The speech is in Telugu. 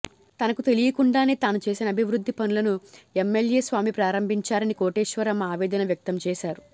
తనకు తెలియకుండానే తాను చేసిన అభివృద్ధి పనులను ఎంఎల్ఎ స్వామి ప్రారంభించారని కోటేశ్వరమ్మ ఆవేదన వ్యక్తం చేశారు